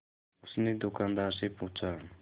उसने दुकानदार से पूछा